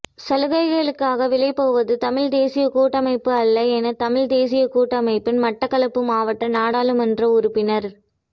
சலுகைகளுக்காக விலைபோவது தமிழ்த்தேசியக் கூட்டமைப்பு அல்ல என தமிழ்த் தேசியக் கூட்டமைப்பின் மட்டக்களப்பு மாவட்ட நாடாளுமன்ற உறுப்பினர்